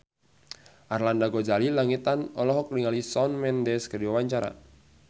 Arlanda Ghazali Langitan olohok ningali Shawn Mendes keur diwawancara